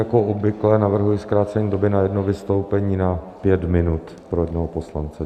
Jako obvykle navrhuji zkrácení doby na jedno vystoupení na pět minut pro jednoho poslance.